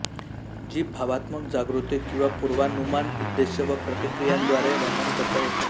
जी भावात्मक जागृती किंवा पूर्वानुमान उद्देश व प्रतिक्रियांद्वारे वर्णन करता येते